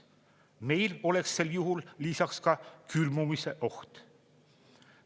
Meil oleks sel juhul lisaks ka külmumise oht.